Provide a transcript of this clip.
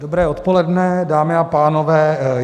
Dobré odpoledne, dámy a pánové.